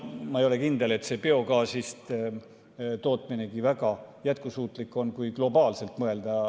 Ma ei ole kindel, et biogaasist tootmine väga jätkusuutlik on, kui globaalselt mõelda.